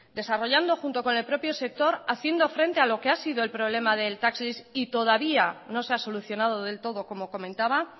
desarrollando junto con el propio sector haciendo frente a lo que ha sido el problema del tax lease y todavía no se ha solucionado del todo como comentaba